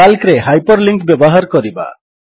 କାଲ୍କରେ hyperlink ବ୍ୟବହାର କରିବା